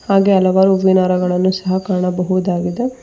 ಹಾಗೆ ಹಲವಾರು ಹೂವಿನ ಹಾರಗಳನ್ನು ಸಹ ಕಾಣಬಹುದಾಗಿದೆ.